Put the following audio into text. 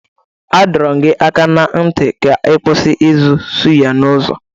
A dọrọ m gị aka na ntị ka ị kwụsị ịzụ sụyà n'ụzọ!